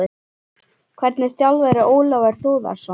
Hvernig þjálfari er Ólafur Þórðarson?